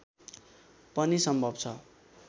पनि सम्भव छ